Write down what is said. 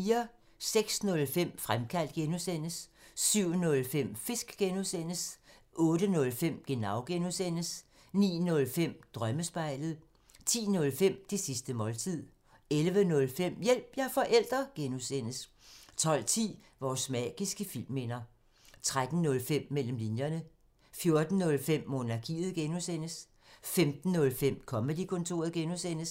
06:05: Fremkaldt (G) 07:05: Fisk (G) 08:05: Genau (G) 09:05: Drømmespejlet 10:05: Det sidste måltid 11:05: Hjælp – jeg er forælder! (G) 12:10: Vores magiske filmminder 13:05: Mellem linjerne 14:05: Monarkiet (G) 15:05: Comedy-kontoret (G)